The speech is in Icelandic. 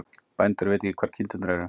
Bændur vita ekki hvar kindurnar eru